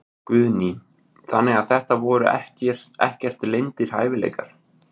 Guðný: Þannig að þetta voru ekkert leyndir hæfileikar?